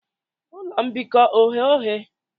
Ụlọ mbikọ oghe oghe?